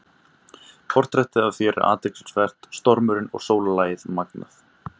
Portrettið af þér er athyglisvert- stormurinn og sólarlagið magnað.